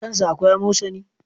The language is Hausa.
Kan sa akwai amosani?